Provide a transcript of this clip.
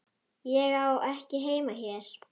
Ég á ekki heima hér.